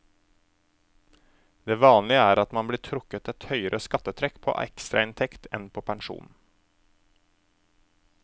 Det vanlige er at man blir trukket et høyere skattetrekk på ekstrainntekt enn på pensjonen.